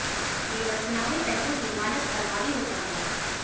केवल चुनावी पहलू ही मानस पर हावी होता गया